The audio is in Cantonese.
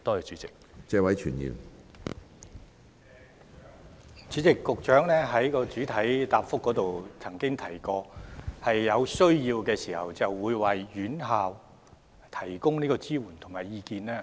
主席，局長在主體答覆中表示，會在有需要時為院校提供支援及意見。